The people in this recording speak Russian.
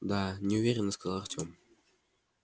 да неуверенно сказал артём